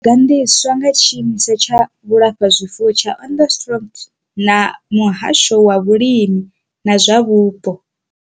Yo gandiswa nga tshiimiswa tsha vhulafhazwifuwo tsha Onderstepoort na muhasho wa vhulimi na zwa vhupo.